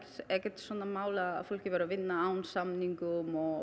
ekkert svona mál að fólk væri að vinna án samninga og